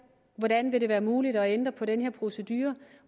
hvordan det vil være muligt at ændre på denne procedure